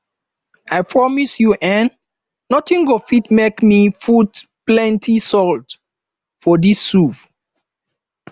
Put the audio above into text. i promise you eh nothing go fit make me to put plenty salt for dis soup